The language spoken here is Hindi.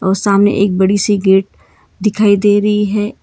और सामने एक बड़ी सी गेट दिखाई दे रही है।